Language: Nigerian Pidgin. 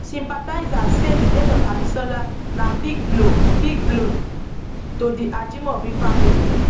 sympathisers say di death of abisola na big blow big blow to di ajimobi family